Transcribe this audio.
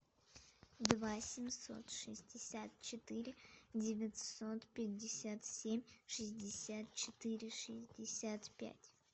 два семьсот шестьдесят четыре девятьсот пятьдесят семь шестьдесят четыре шестьдесят пять